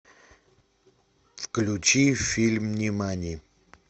включи фильм нимани